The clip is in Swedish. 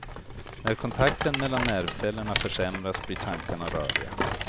När kontakten mellan nervcellerna försämras blir tankarna röriga.